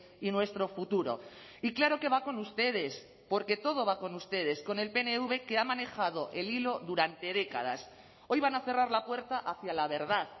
y nuestro futuro y claro que va con ustedes porque todo va con ustedes con el pnv que ha manejado el hilo durante décadas hoy van a cerrar la puerta hacia la verdad